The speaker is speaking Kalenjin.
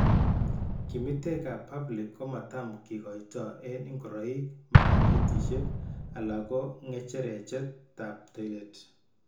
Kimitek ab pubic komatam kekoitoo eng' ng'oroik, marang'etisiek alako ng'echerechet ab toilet